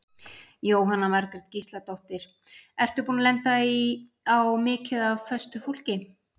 Jóhanna Margrét Gísladóttir: Ertu búinn að lenda á mikið af föstu fólki?